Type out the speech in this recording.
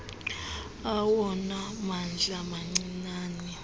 awona mandla mancinane